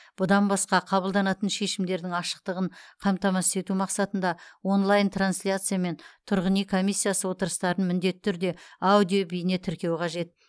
бұдан басқа қабылданатын шешімдердің ашықтығын қамтамасыз ету мақсатында онлайн трансляциямен тұрғын үй комиссиясы отырыстарын міндетті түрде аудио бейне тіркеу қажет